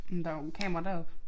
Men der jo kamera deroppe